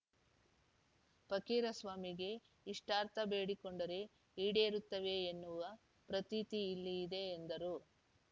ಪಕ್ಕೀರಸ್ವಾಮಿಗೆ ಇಷ್ಟಾರ್ಥ ಬೇಡಿಕೊಂಡರೆ ಈಡೇರುತ್ತವೆ ಎನ್ನುವ ಪ್ರತೀತಿ ಇಲ್ಲಿ ಇದೆ ಎಂದರು